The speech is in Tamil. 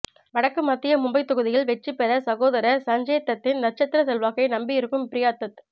வடக்கு மத்திய மும்பை தொகுதியில் வெற்றி பெற சகோதரர் சஞ்சய்தத்தின் நட்சத்திர செல்வாக்கை நம்பி இருக்கும் பிரியா தத்